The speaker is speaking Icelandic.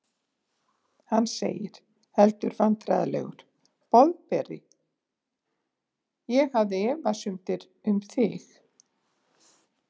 Hann segir, heldur vandræðalegur: Boðberi, ég hafði efasemdir um þig.